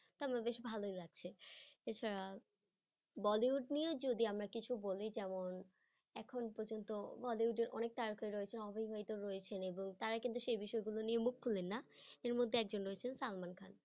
তা আমার বেশ ভালোই লাগছে এছাড়া bollywood নিয়েও যদি আমরা কিছু বলি যেমন এখন পর্যন্ত bollywood এর অনেক তারকা রয়েছে অবিবাহিত রয়েছেন এবং তারা কিন্তু সেই বিষয় গুলো নিয়ে মুখ খুলেন না এর মধ্যে একজন রয়েছেন সালমান খান।